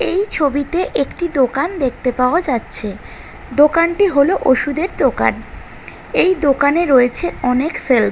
এই ছবিতে একটি দোকান দেখতে পাওয়া যাচ্ছে দোকানটি হলো ওষুদের দোকান এই দোকানে রয়েছে অনেক সেলফ ।